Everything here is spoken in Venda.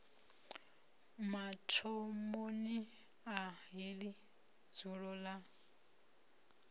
mathomoni a heḽi dzulo ḽa